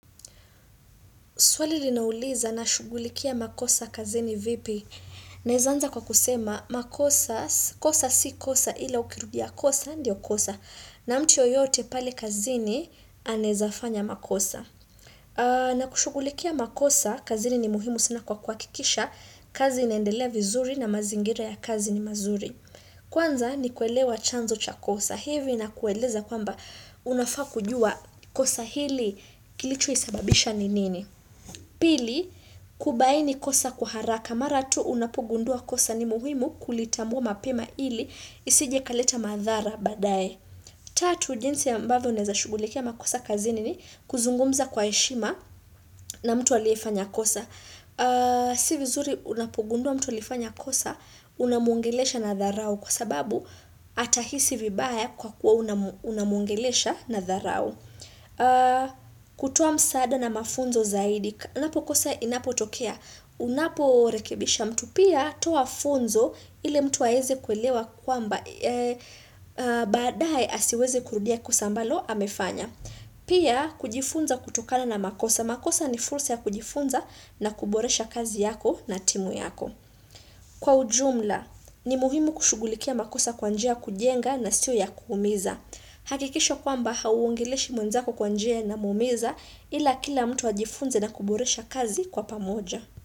Swali linauliza nashughulikia makosa kazini vipi? Naeza anza kwa kusema, makosa, kosa si kosa ila ukirudia kosa, ndio kosa. Na mtu yoyote pale kazini, anaeza fanya makosa. Na kushughulikia makosa, kazini ni muhimu sana kwa kuhakikisha, kazi inaendelea vizuri na mazingira ya kazi ni mazuri. Kwanza ni kuelewa chanzo cha kosa. Hivi inakueleza kwamba unafaa kujua kosa hili kilicho sababisha ni nini. Pili, kubaini kosa kwa haraka mara tu unapogundua kosa ni muhimu kulitambua mapema ili isije ikaleta madhara baadaye. Tatu, jinsi ambavyo unaeza shughulikia makosa kazini ni kuzungumza kwa heshima na mtu aliyefanya kosa. S ivizuri unapogundua mtu alifanya kosa unamwongelesha na dharau kwa sababu atahisi vibaya kwa kuwa unamwongelesha na dharau. Kutoa msaada na mafunzo zaidi Unapo kosa inapotokea Unaporekebisha mtu pia toa funzo ili mtu aeze kuelewa kwamba baadaye asiweze kurudia kosa ambalo amefanya Pia kujifunza kutokana na makosa makosa ni fursa ya kujifunza na kuboresha kazi yako na timu yako Kwa ujumla ni muhimu kushugulikia makosa kwa njia ya kujenga na siyo ya kuumiza hakikisha kwamba hauongeleshi mwenzako kwa njia inamuumiza ila kila mtu ajifunze na kuboresha kazi kwa pamoja.